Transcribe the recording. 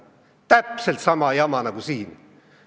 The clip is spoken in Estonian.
Täpselt sama jama nagu siin.